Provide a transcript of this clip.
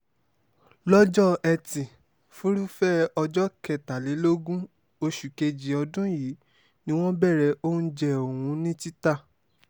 lọ́jọ́ etí furuufee ọjọ́ kẹtàlélógún oṣù kejì ọdún yìí ni wọ́n bẹ̀rẹ̀ oúnjẹ ọ̀hún ní títà